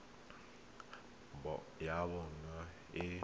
le naga ya bona e